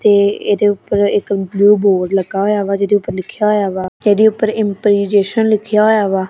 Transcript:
ਤੇ ਏਹਦੇ ਊਪਰ ਇੱਕ ਬਲੂ ਬੋਰਡ ਲੱਗਾ ਹੋਇਆ ਵਾ ਜਿਹਦੇ ਉੱਪਰ ਲਿਖੇਆ ਹੋਇਆ ਵਾ ਏਹਦੇ ਊਪਰ ਇੰਪਲੀਜੇ ਸ਼ਨ ਲਿੱਖਿਆ ਵਾ।